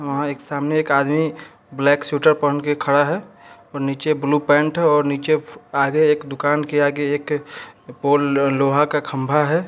अ सामने एक आदमी ब्लैक स्वेटर पहन के खड़ा है और नीचे ब्लू पेंट है और आगे एक दुकान के आगे एक पोल लोहा का खंबा है।